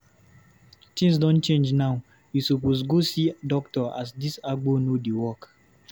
Tins don change now, you suppose go see doctor as dis agbo no dey work.